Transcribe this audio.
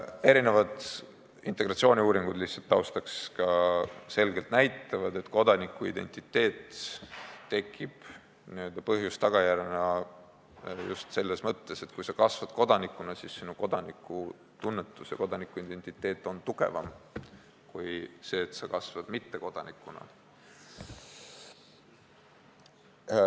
Ka erinevad integratsiooniuuringud – lihtsalt taustaks – näitavad selgelt, et kodanikuidentiteet tekib n-ö põhjuse-tagajärjena just selles mõttes, et kui sa kasvad kodanikuna, siis sinu kodanikutunnetus ja kodanikuidentiteet on tugevamad kui siis, kui sa kasvad mittekodanikuna.